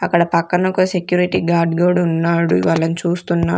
అక్కడ పక్కన ఒక సెక్యూరిటీ గార్డ్ గూడున్నాడు వాళ్ళను చూస్తున్నా--